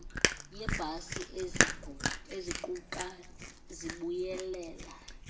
yeebhasi eziquqa zibuyelela